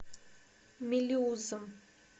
мелеузом